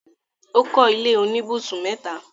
ó kọ́ ilé oníbùsùn mẹ́ta.